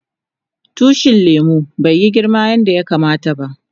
Tushin lemun bai yi girma yanda yakama ta ba.